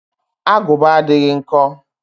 Agụba adịghị nkọ